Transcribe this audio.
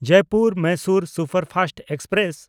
Jaipur Mysore superfast express